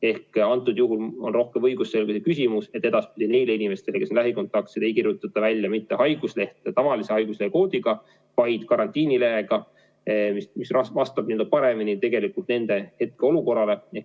Ehk siis antud juhul on rohkem küsimus õigusselguses, et edaspidi neile inimestele, kes on lähikontaktsed, ei kirjutata välja mitte haiguslehte tavalise haiguslehe koodiga, vaid karantiinileht, mis vastab paremini nende hetkeolukorrale.